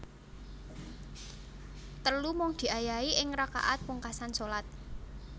Telu Mung diayahi ing rakaat pungkasan shalat